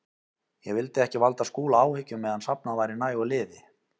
Ég vildi ekki valda Skúla áhyggjum meðan safnað væri nægu liði.